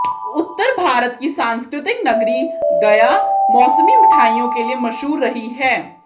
उत्तर भारत की सांस्कृतिक नगरी गया मौसमी मिठाइयों के लिए मशहूर रही है